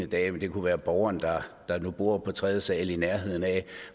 dag det kunne være borgeren der nu bor på tredje sal i nærheden af